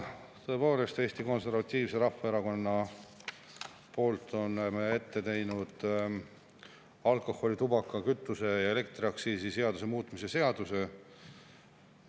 Tõepoolest, Eesti Konservatiivse Rahvaerakonnaga oleme ette pannud alkoholi-, tubaka-, kütuse- ja elektriaktsiisi seaduse muutmise seaduse.